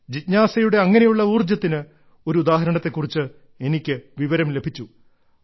ജിജ്ഞാസയുടെ അങ്ങനെയുള്ള ഊർജ്ജത്തിന് ഒരു ഉദാഹരണത്തെ കുറിച്ച് എനിക്ക് വിവരം ലഭിച്ചു